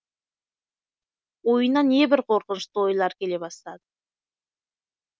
ойына небір қорқынышты ойлар келе бастады